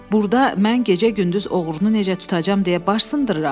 Burda mən gecə-gündüz oğrunu necə tutacam deyə baş sındırıram.